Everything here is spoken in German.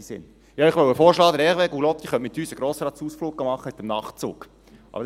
Ich wollte Ihnen vorschlagen, dass Hervé Gullotti mit uns einen Ausflug mit dem Nachtzug machen könnte.